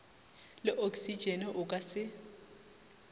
le oksitšene o ka se